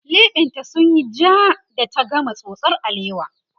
leɓen ta sunyi jaa da ta gama tsotsar alewa